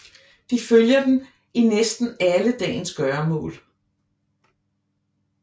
De følger dem i næsten alle dagens gøremål